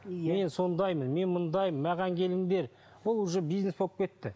мен сондаймын мен мұндаймын маған келіңдер бұл уже бизнес болып кетті